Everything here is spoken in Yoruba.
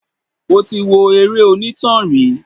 Mo ti wo eré onítàn rí.